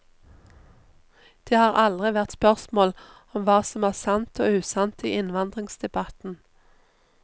Det har aldri vært spørsmål om hva som er sant og usant i innvandringsdebatten.